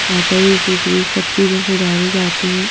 यहां पे A _C fridge सब चीजें सुधारी जाती हैं।